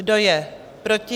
Kdo je proti?